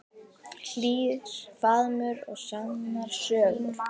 Hlýr faðmur og sannar sögur.